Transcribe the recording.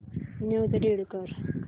news read कर